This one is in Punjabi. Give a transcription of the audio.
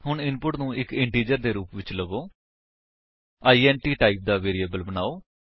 ਹੁਣ ਇਨਪੁਟ ਨੂੰ ਇੱਕ ਇੰਟਿਜਰ ਦੇ ਰੂਪ ਵਿੱਚ ਲਵੋ ਇੰਟ ਟਾਈਪ ਦਾ ਵੇਰਿਏਬਲ ਬਨਾਓ